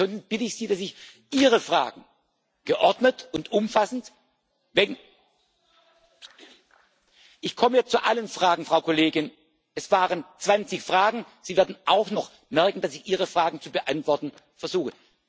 Sonst bitte ich Sie, dass Sie Ihre Fragen geordnet und umfassend Ich komme zu allen Fragen, Frau Kollegin! Es waren 20 Fragen. Sie werden auch noch merken, dass ichs Ihre Fragen zu beantworten versuche.